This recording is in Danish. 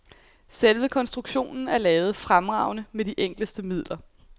Selve konstruktionen er lavet fremragende med de enkleste midler.